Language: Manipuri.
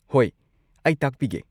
ꯍꯣꯏ, ꯑꯩ ꯇꯥꯛꯄꯤꯒꯦ꯫